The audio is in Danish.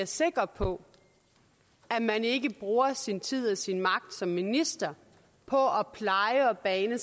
sikre på at man ikke bruger sin tid og sin magt som minister på at pleje og bane